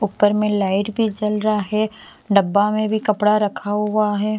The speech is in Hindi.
ऊपर में लाइट भी जल रहा है डब्बा में भी कपड़ा रखा हुआ है।